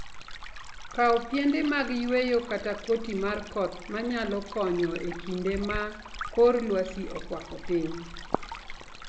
Kaw piende mag yweyo kata koti mar koth ma nyalo konyo e kinde ma kor lwasi okwako piny.